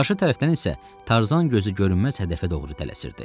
Qarşı tərəfdən isə Tarzan gözü görünməz hədəfə doğru tələsirdi.